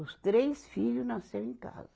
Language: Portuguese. Os três filho nasceu em casa.